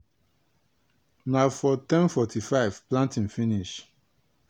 na for ten forty-five planting finish.